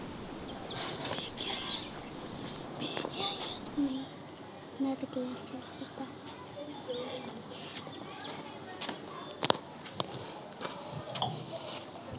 ।